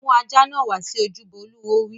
Mú ajá náà wá sí ojúbọ! Olúwo wí.